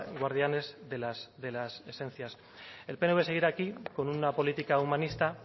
guardianes de las esencias el pnv seguirá aquí con una política humanista